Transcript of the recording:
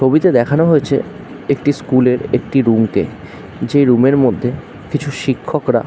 তবিতে দেখানো হয়েছে। একটি স্কুল -এর একটি রুম -কে। যে রুম -এর মধ্যে কিছু শিক্ষকরা--